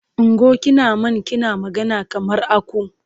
Ungo! Kina man kina magana kamar aku.